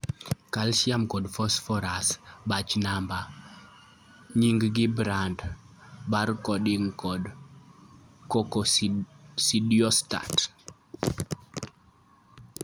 Calcium kod phosphorus, batch number, nying' gi brand, Bar coding, kod Coccidiostat